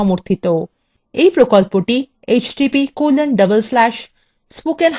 এই প্রকল্পটি